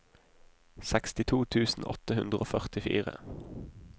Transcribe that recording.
sekstito tusen åtte hundre og førtifire